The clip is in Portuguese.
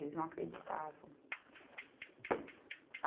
Eles não acreditavam.